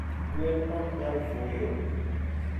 gwen oknyal fuyo